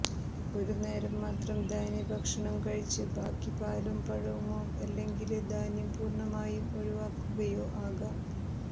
ഒരു നേരം മാത്രം ധാന്യ ഭക്ഷണം കഴിച്ച് ബാക്കി പാലും പഴവുമോ അല്ലെങ്കില് ധാന്യം പൂര്ണമായും ഒഴിവാക്കുകയോ ആകാം